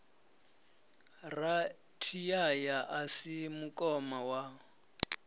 rathiyaya a si mukoma wa